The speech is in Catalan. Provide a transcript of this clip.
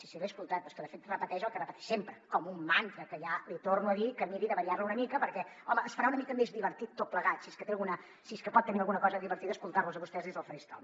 sí sí l’he escoltat però és que de fet repeteix el que repeteix sempre com un mantra que ja li torno a dir que miri de variar lo una mica perquè home es farà una mica més divertit tot plegat si és que pot tenir alguna cosa divertida escoltar los a vostès des del faristol